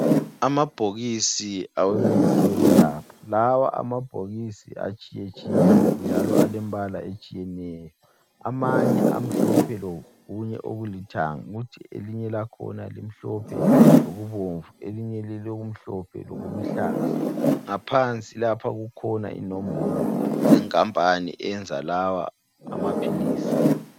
Amabhokisi awemithi yokwelapha lawa amabhokisi atshiyetshiyene, njalo alembala etshiyeneyo, amanye amhlophe lokunye okulithanga, kuthi elinye lakhona limhlophe lokubomvu, elinye liloku mhlophe lokuluhlaza, ngaphansi lapha kukhona inombolo zenkampani eyenza lawa amaphilisi.